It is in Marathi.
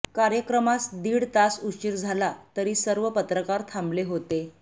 कार्यक्रमास दीड तास उशिर झाला तरी सर्व पत्रकार थांबले होते